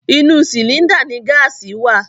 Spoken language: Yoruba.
Inú sìlíńdà ni gáàsì wà.